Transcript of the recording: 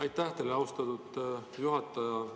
Aitäh teile, austatud juhataja!